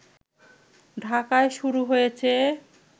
ঢাকায় শুরু হয়েছে